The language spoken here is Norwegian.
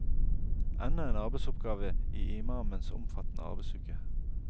Enda en arbeidsoppgave i imamens omfattende arbeidsuke.